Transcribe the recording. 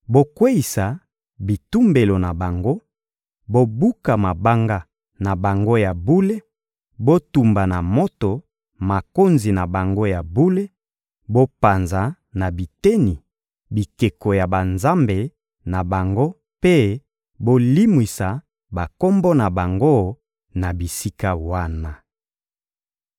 Bokweyisa bitumbelo na bango, bobuka mabanga na bango ya bule, botumba na moto makonzi na bango ya bule, bopanza na biteni bikeko ya banzambe na bango mpe bolimwisa bakombo na bango na bisika wana.